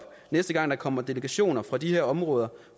næste gang der kommer delegationer fra de her områder